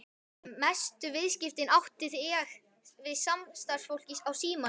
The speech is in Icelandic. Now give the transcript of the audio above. Mestu viðskiptin átti ég við samstarfsfólk á Símanum.